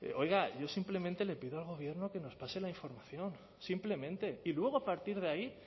oiga yo simplemente le pido al gobierno que nos pase la información simplemente y luego a partir de ahí